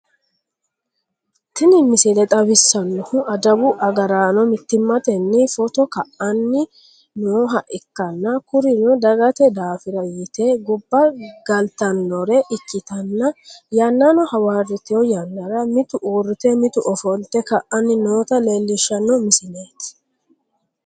tini misile xawissannohu adawu agaraano mittimmatenni footo ka'anni nooha ikkanna, kurino dagate daafira yite gobba galtannore ikkitanna, yannano hawarito yannara mitu uurrrite mitu ofolte ka'anni noota leelishshanno misileeti.